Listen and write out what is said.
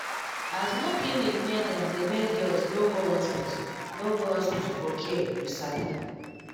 as no clinic near dem dey make girls no go hospital no go hospital for care you sabi